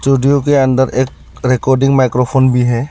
Studio के अंदर एक रिकॉर्डिंग माइक्रोफोन भी है।